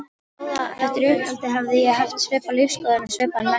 Eftir uppeldið hefði ég haft svipaða lífsskoðun og svipaðan metnað.